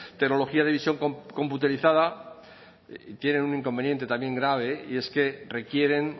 tecnología de visión computarizada tienen un inconveniente también grave y es que requieren